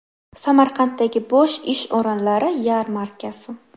Samarqanddagi bo‘sh ish o‘rinlari yarmarkasi.